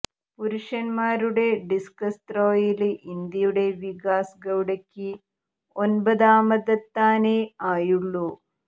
പുരുഷന്മാരുടെ ഡിസ്കസ് ത്രോയില് ഇന്ത്യയുടെ വികാസ് ഗൌഡയ്ക്ക് ഒമ്പതാമതെത്താനേ ആയുള്ളു